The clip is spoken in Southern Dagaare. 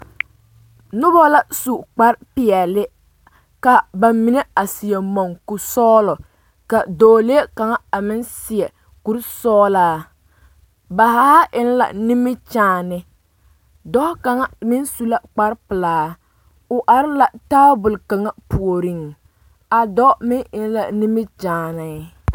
Nona la su kpar peɛle ka ba mine a seɛ mɔŋkuri sɔgelɔ ka dɔɔlee kaŋa a meŋ seɛ kuri sɔgelaa ba haa eŋ la nimikyaane dɔɔ kaŋa meŋ su la kpar pelaa o are la taabol kaŋa puoriŋ a dɔɔ meŋ eŋ la nimikyaanee